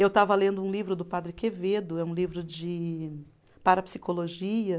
Eu estava lendo um livro do Padre Quevedo, é um livro de parapsicologia.